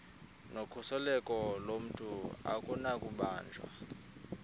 nokhuseleko lomntu akunakubanjwa